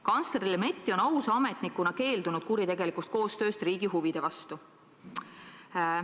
Kantsler Lemetti on ausa ametnikuna keeldunud kuritegelikust koostööst riigi huvide vastu.